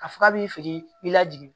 Ka fɔ k'a bi fini i la jigin